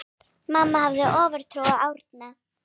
Mamma hafði ofurtrú á Árna.